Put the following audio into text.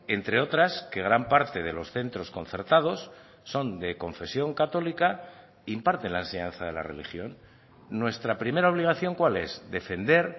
entre otras que gran parte de los centros concertados son de confesión católica imparten la enseñanza de la religión nuestra primera obligación cuál es defender